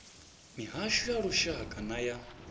mihasho ya lushaka nay a